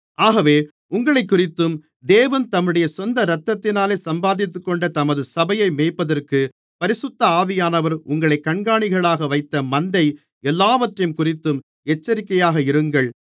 ஆகவே உங்களைக்குறித்தும் தேவன் தம்முடைய சொந்த இரத்தத்தினாலே சம்பாதித்துக்கொண்ட தமது சபையை மேய்ப்பதற்குப் பரிசுத்த ஆவியானவர் உங்களைக் கண்காணிகளாக வைத்த மந்தை எல்லாவற்றையும்குறித்தும் எச்சரிக்கையாக இருங்கள்